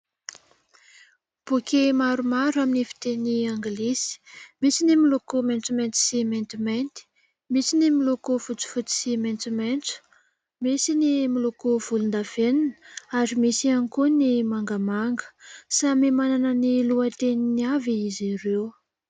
Boky maromaro amin'ny fiteny anglisy. Misy ny miloko maitsomaitso sy maintimainty, misy ny miloko fotsifotsy sy maitsomaitso, misy ny miloko volondavenona ary misy ihany koa ny mangamanga ; samy manana ny lohateniny avy izy ireo.